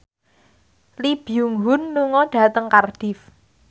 Lee Byung Hun lunga dhateng Cardiff